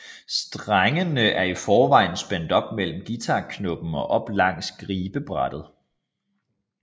Strengene er i forvejen spændt op mellem guitarkroppen og op langs gribebrættet